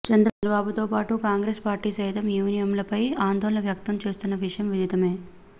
చంద్రబాబుతోపాటు Congress party సైతం ఈవీఎంలపై ఆందోళన వ్యక్తం చేస్తున్న విషయం విదితమే